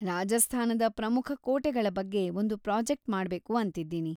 ರಾಜಸ್ಥಾನದ ಪ್ರಮುಖ ಕೋಟೆಗಳ ಬಗ್ಗೆ ಒಂದು ಪ್ರಾಜೆಕ್ಟ್‌ ಮಾಡ್ಬೇಕು ಅಂತಿದ್ದೀನಿ.